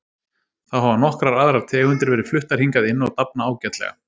Þá hafa nokkrar aðrar tegundir verið fluttar hingað inn og dafna ágætlega.